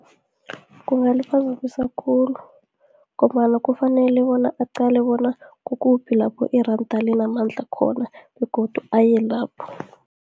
Kungaliphazamisa khulu, ngombana kufanele bona aqale bona, kukuphi lapho iranda linamandla khona, begodu aye lapho.